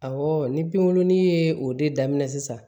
Awɔ ni pinkurunin ye o de daminɛ sisan